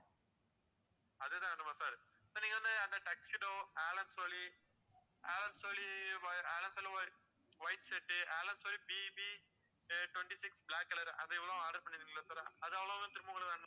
அதேதான் வேணுமா sir sir நீங்க வந்து அந்த tuxedo Allen Solly, Allen Solly whi~ Allen Solly white shirt Allen Solly BB twenty-six black colour அது எவ்வளவு order பண்ணிருக்கீங்கல்ல sir அது அவ்வளவும் திரும்ப உங்களுக்கு வேணுமோ